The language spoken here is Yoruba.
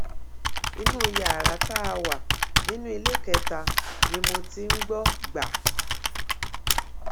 inú yàrá tá a wà nínú iléekétà ni mo ti ń gbó gbà